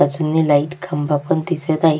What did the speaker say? बाजूनी लाइट खंबा पण दिसत आहे.